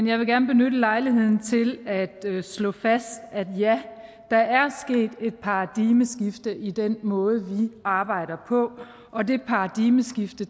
jeg vil gerne benytte lejligheden til at slå fast at ja der er sket et paradigmeskifte i den måde vi arbejder på og det paradigmeskifte